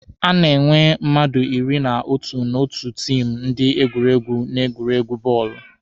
A na-enwe mmadụ iri na otu n'otu tiimụ ndị egwuregwu n'egwuregwu bọọlụ.